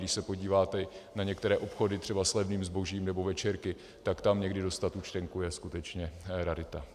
Když se podíváte na některé obchody třeba s levným zbožím nebo večerky, tak tam někdy dostat účtenku je skutečně rarita.